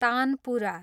tanpura